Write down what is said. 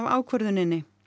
ákvörðuninni